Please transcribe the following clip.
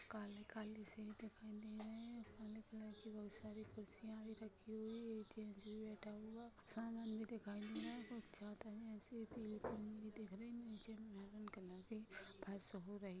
काले काले सीट दिखाई दे रही है काले कलर की बहुत सारी कुर्सियां भी रखी हुई है एक आदमी बैठा हुआ है सामान भी दिखाई दे रहा है दिख रही है नीचे मैरून कलर की फर्श हो रही--